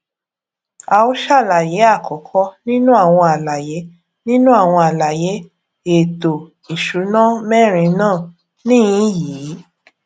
à ó ṣàlàyé àkọkọ nínú àwọn àlàyé nínú àwọn àlàyé èẹto ìsúná mẹrin náà níhìnín yi